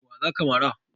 Wa za ka mara?